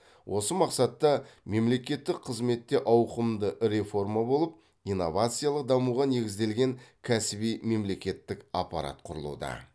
осы мақсатта мемлекеттік қызметте ауқымды реформа болып инновациялық дамуға негізделген кәсіби мемлекеттік аппарат құрылуда